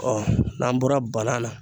n'an bɔra banan la